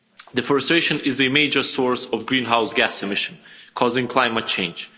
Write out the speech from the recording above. Deforestation is a major source of greenhouse gas emissions, causing climate change.